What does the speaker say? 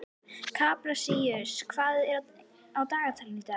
Kaprasíus, hvað er á dagatalinu í dag?